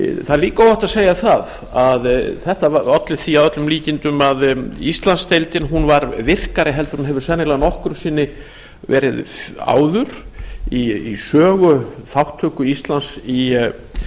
er eiga óhætt að segja að þetta alla því að öllum líkindum að íslandsdeildin var virkari en hún hefur sennilega nokkru sinni verið áður í sögu þátttöku íslands í